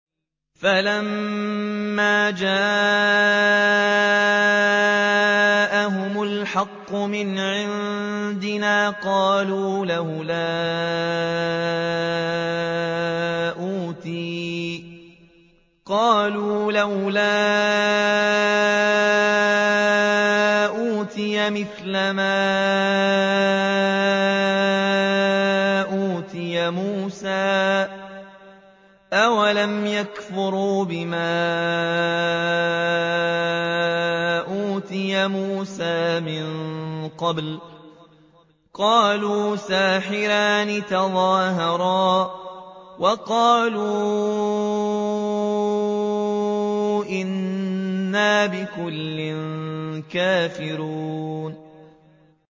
فَلَمَّا جَاءَهُمُ الْحَقُّ مِنْ عِندِنَا قَالُوا لَوْلَا أُوتِيَ مِثْلَ مَا أُوتِيَ مُوسَىٰ ۚ أَوَلَمْ يَكْفُرُوا بِمَا أُوتِيَ مُوسَىٰ مِن قَبْلُ ۖ قَالُوا سِحْرَانِ تَظَاهَرَا وَقَالُوا إِنَّا بِكُلٍّ كَافِرُونَ